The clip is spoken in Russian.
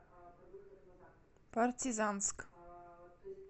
партизанск